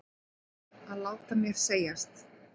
Að láta mér segjast?